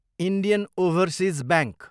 Indian overseas bank